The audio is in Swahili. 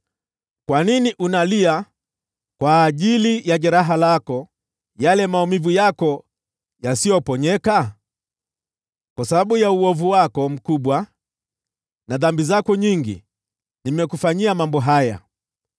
Kwa nini unalia kwa ajili ya jeraha lako, yale maumivu yako yasiyoponyeka? Kwa sababu ya uovu wako mkubwa na dhambi zako nyingi nimekufanyia mambo haya.